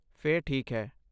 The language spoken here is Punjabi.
ਫਿਰ ਠੀਕ ਹੈ।